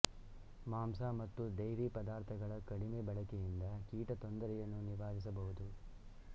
ಮಾಂಸ ಮತ್ತು ಡೈರಿ ಪದಾರ್ಥಗಳ ಕಡಿಮೆ ಬಳಕೆಯಿಂದ ಕೀಟ ತೊಂದರೆಯನ್ನು ನಿವಾರಿಸಬಹುದು